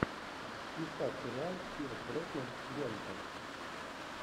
искать сериал пирс броснан гонка